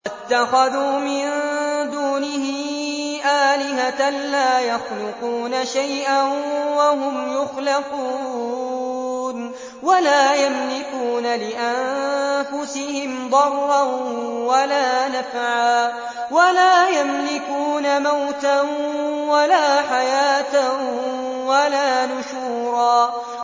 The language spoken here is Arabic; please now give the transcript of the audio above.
وَاتَّخَذُوا مِن دُونِهِ آلِهَةً لَّا يَخْلُقُونَ شَيْئًا وَهُمْ يُخْلَقُونَ وَلَا يَمْلِكُونَ لِأَنفُسِهِمْ ضَرًّا وَلَا نَفْعًا وَلَا يَمْلِكُونَ مَوْتًا وَلَا حَيَاةً وَلَا نُشُورًا